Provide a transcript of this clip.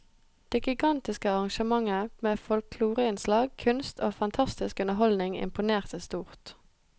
Det gigantiske arrangementet med folkloreinnslag, kunst og fantastisk underholdning imponerte stort.